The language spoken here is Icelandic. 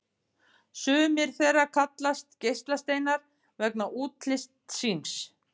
Sumir þeirra kallast geislasteinar vegna útlits síns.